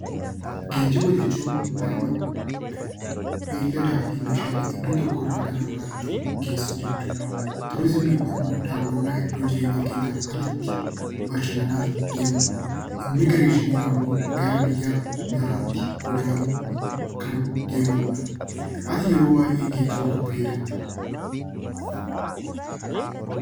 Geejjiba jechuun nama, beelladaa fi meeshaalee iddoo tokko irraa gara biraa tti geessuu jechuu dha. Turiizimiin immoo daawwannaa iddoo jireenya keenyaa alatti bashannanaaf deemuu dha. Immigireeshiniin ammoo gara biyya biraatti godaanuun kan deemamu dha. Ati yeroo baay'ee geejjiba kam fayadamta?